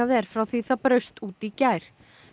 er frá því það braust út í gær